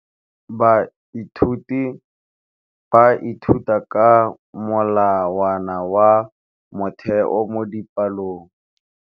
Baithuti ba ithuta ka molawana wa motheo mo dipalong.